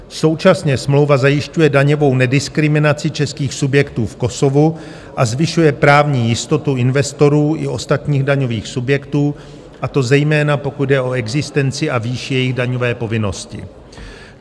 Současně smlouva zajišťuje daňovou nediskriminaci českých subjektů v Kosovu a zvyšuje právní jistotu investorů i ostatních daňových subjektů, a to zejména pokud jde o existenci a výši jejich daňové povinnosti.